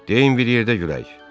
Deyin, bir yerdə gülək.